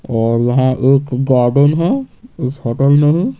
और यहां एक गार्डन है इस होटल मे है ।